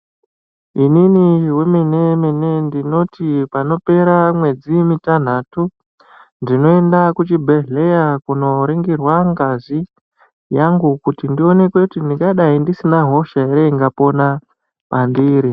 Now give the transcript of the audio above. Inini wemenemene ndinoti panopera mwedzi mitanhatu, ndinoenda kuchibhehleya kunoringirwa ngazi yangu kuti ndione kuti ndingadai ndisina hosha here inopona pandiri?